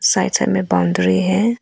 Side side में boundary है।